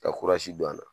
Ka kurazi don a la